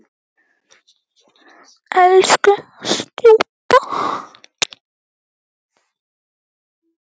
Elsku stjúpa.